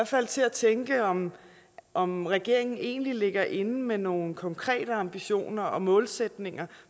fald til at tænke om om regeringen egentlig ligger inde med nogle konkrete ambitioner og målsætninger